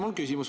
Mul on küsimus.